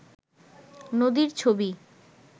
নদীর ছবি